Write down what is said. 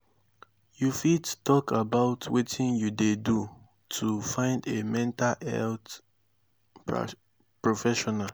you fit talk about wetin you dey do to find a mental health professional?